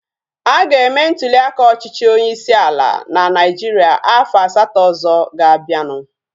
A ga-eme ntuliaka ọchịchị onyeisi ala na Naijiria afọ asatọ ọzọ ga-abianu